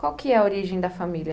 Qual que é a origem da família?